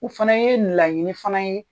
U fana yee laɲini fana ye